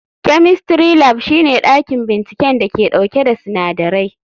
Chemistry Lab shine dakin binciken da ke dauke da sinadarai.